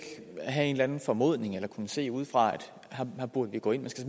have en eller anden formodning eller kunne se udefra at her burde man gå ind man skal